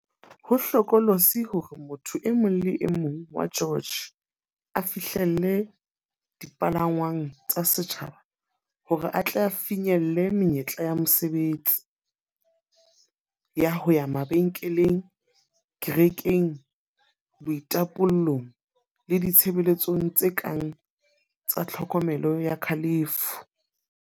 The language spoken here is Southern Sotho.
Ho hlokolosi hore motho e mong le e mong wa George a fihlelle dipalangwang tsa setjhaba hore a tle a finyelle menyetla ya mosebetsi, ya ho ya mabenkeleng, kerekeng, boitapollong le ditshebeletsong tse kang tsa tlhokomelo ya kalafo.